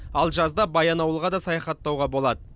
ал жазда баянауылға да саяхаттауға болады